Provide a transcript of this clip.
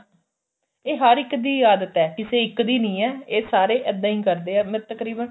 ਇਹ ਹਰ ਇੱਕ ਦੀ ਆਦਤ ਏ ਕਿਸੇ ਇੱਕ ਦੀ ਨੀ ਏ ਇਹ ਸਾਰੇ ਇੱਦਾਂ ਈ ਕਰਦੇ ਏ ਤਕਰੀਬਨ